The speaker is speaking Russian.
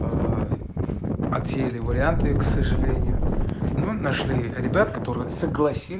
в отеле варианты к сожалению нашли ребят которые согласились